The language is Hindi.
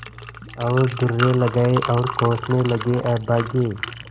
और दुर्रे लगाये और कोसने लगेअभागे